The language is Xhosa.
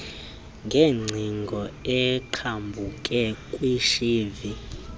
ngeengcingo eqhambuke kwishivi